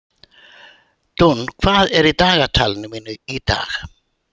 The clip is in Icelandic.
Dúnn, hvað er á dagatalinu mínu í dag?